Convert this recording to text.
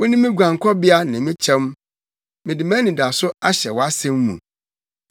Wone me guankɔbea ne me kyɛm; mede mʼanidaso ahyɛ wʼasɛm mu.